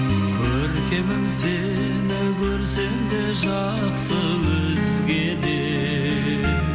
көркемім сені көрсем де жақсы өзгеден